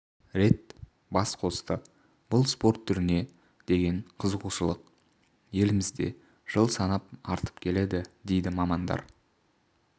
рет бас қосты бұл спорт түріне деген қызығушылық елімізде жыл санап артып келеді дейді мамандар